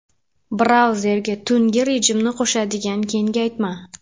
Brauzerga tungi rejimni qo‘shadigan kengaytma.